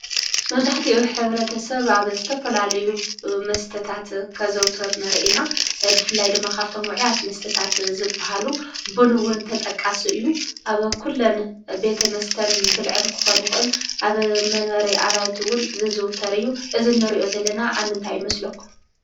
መብዛሕቲኡ ሕብረተሰብ አብ ዝተፈላለዩ መስተታት ከዘውትር ንርኢ ኢና፡፡ ብፍላይ ድማ ካብቶም ውዕያት መስተታት ዝበሃሉ ቡን እውን ተጠቃሲ እዩ፡፡ አብ ኩለን ቤተ መስተን ብልዕን ክኾን ይክእል፡፡ አብ መንበሪ አባይቲ እውን ዝዝውተር እዩ፡፡ እዚ እንሪኦ ዘለና አብ ምንታይ ይመስለኩም?